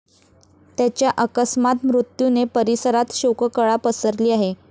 त्याच्या अकस्मात मृत्यूने परिसरात शोककळा पसरली आहे.